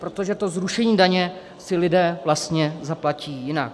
Protože to zrušení daně si lidé vlastně zaplatí jinak.